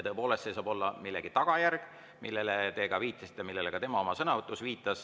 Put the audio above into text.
Tõepoolest, see saab olla millegi tagajärg, millele te ka viitasite ja millele ka tema oma sõnavõtus viitas.